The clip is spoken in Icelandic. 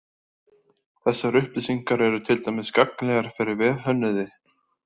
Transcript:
Þessar upplýsingar eru til dæmis gagnlegar fyrir vefhönnuði.